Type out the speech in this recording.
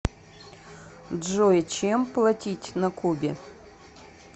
джой чем платить на кубе